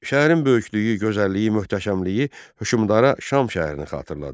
Şəhərin böyüklüyü, gözəlliyi, möhtəşəmliyi hökmdara Şam şəhərini xatırladır.